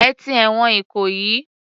Ẹ ti ẹ̀wọ̀n Ìkòyí.